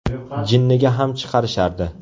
Jinniga ham chiqarishardi.